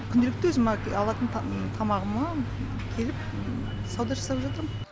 күнделікті өзім алатын тамағыма келіп сауда жасап жатырм